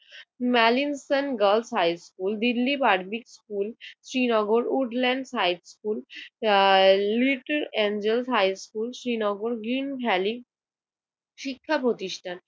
মেলিনসন girls high school, Delhi public school, Srinagar Woodland high school, ah little angel high school, Srinagar Green Valley শিক্ষা প্রতিষ্ঠান